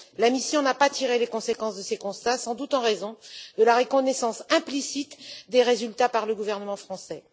La mission n'a pas tiré les conséquences de ces constats, sans doute en raison de la reconnaissance implicite des résultats par le gouvernement français.